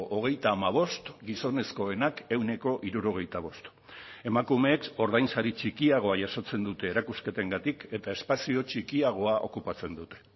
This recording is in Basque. hogeita hamabost gizonezkoenak ehuneko hirurogeita bost emakumeek ordainsari txikiagoa jasotzen dute erakusketengatik eta espazio txikiagoa okupatzen dute